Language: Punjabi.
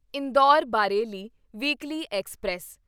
Indore Bareilly weekly express